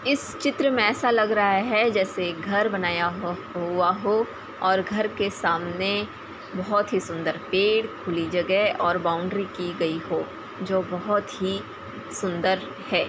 इस चित्र में ऐसा लग रहा है जैसे घर बनाया गया हु हुआ हो और घर के सामने बहोत ही सुन्दर पेड़ खुली जगह और बाउंड्री की गई हो जो बहोत ही सुन्दर है।